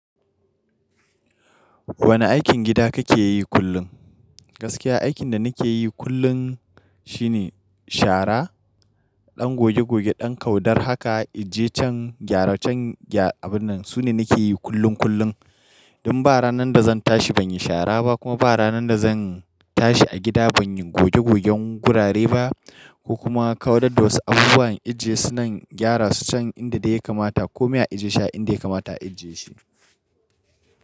Wane aikin gida kake yi kullum? Gaskiya aikin da nake yi kullum shine shara, ɗan goge-goge, ɗan kaudar haka, ajiye can, gyara can abun nan. Su ne nake yi kullum kullum. Inda ba ranar da zan tashi ban yi shara ba kuma ba ranar da zan tashi a gida ban yi goge-gogen gurare ba ko kuma kaudar da wasu abubuwan ajiye su nan, gyara su can inda dai ya kamata ko me a ajiye shi a inda ya kamata a ajiye shi.